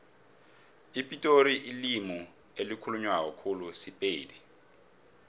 epitori ilimi elikhulunywa khulu sipedi